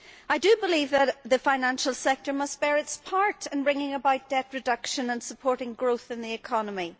I believe that the financial sector must bear its part in bringing about debt reduction and supporting growth in the economy.